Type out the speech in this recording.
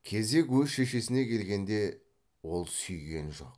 кезек өз шешесіне келгенде ол сүйген жоқ